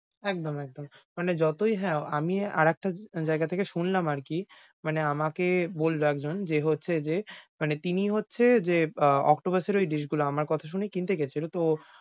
একদম, একদম। মানে যতোই হ্যাঁ, আমি আরেকটা জায়গা থেকে শুনলাম আরকি, মানে আমাকে বলল একজন যে হচ্ছে যে, মানে তিনি হচ্ছে যে আহ octopus এর ঐ dish গুলো আমার কথা শুনে কিনতে গেছিল তো,